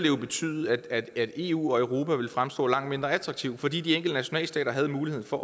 jo betyde at eu og europa ville fremstå langt mindre attraktive fordi de enkelte nationalstater havde muligheden for